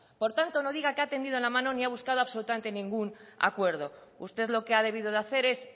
por tanto no diga que ha tendido la mano ni ha buscado absolutamente ningún acuerdo usted lo que ha debido de hacer es